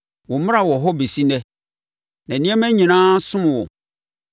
Wo mmara wɔ hɔ bɛsi ɛnnɛ, na nneɛma nyinaa som wo.